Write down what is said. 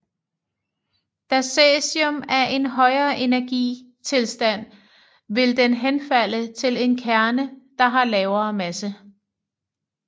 Da cæsium er i en højere energi tilstand vil den henfalde til en kerne der har lavere masse